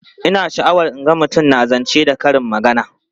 Ina sha'awar in ga mutum na zance da karin magana.